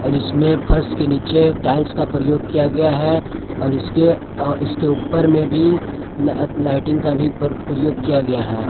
और इसमें फर्श के नीचे टाइल्स का प्रयोग किया गया है और इसके इसके ऊपर में भी ल लाइटिंग का भी प्रयोग किया गया है।